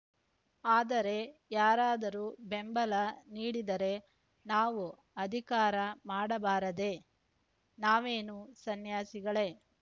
ಆದರೆ ಯಾರಾದರೂ ಬೆಂಬಲ ನೀಡಿದರೆ ನಾವು ಅಧಿಕಾರ ಮಾಡಬಾರದೇ ನಾವೇನು ಸನ್ಯಾಸಿಗಳೇ